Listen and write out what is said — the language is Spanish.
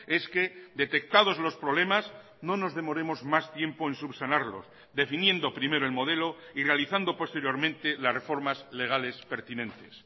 es que detectados los problemas no nos demoremos más tiempo en subsanarlos definiendo primero el modelo y realizando posteriormente las reformas legales pertinentes